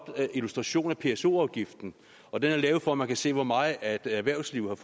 illustration af pso afgiften og den er lavet for at man kan se hvor meget erhvervslivet